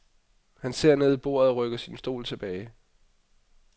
Han ser ned i bordet og rykker sin stol tilbage.